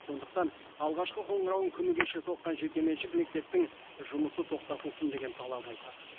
сондықтан алғашқы қоңырауын күні кеше соққан жекеменшік мектептің жұмысы тоқтатылсын деген талап айтады